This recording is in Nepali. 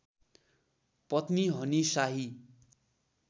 पत्नी हनी शाही